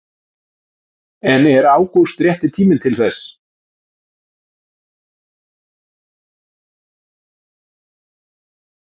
En er ágúst rétti tíminn til þess?